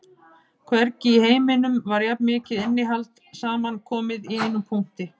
Hvergi í heiminum var jafn mikið innihald samankomið í einum punkti